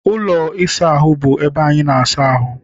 Ụlọ ịsa ahụ bụ ebe anyị na-asa ahụ.